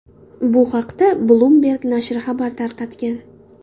Bu haqda Bloomberg nashri xabar tarqatgan .